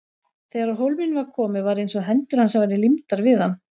Þegar á hólminn var komið var eins og hendur hans væru límdar við hann.